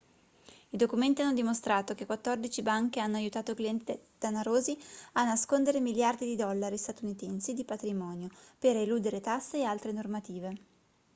i documenti hanno dimostrato che quattordici banche hanno aiutato clienti danarosi a nascondere miliardi di dollari statunitensi di patrimonio per eludere tasse e altre normative